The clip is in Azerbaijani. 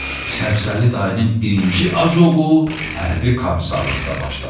Səbzəli dayının birinci ajoku hərbi komisarlıqda başladı.